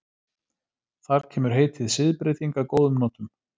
Þar kemur heitið siðbreyting að góðum notum.